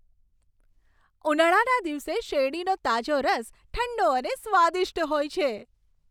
ઉનાળાના દિવસે શેરડીનો તાજો રસ ઠંડો અને સ્વાદિષ્ટ હોય છે.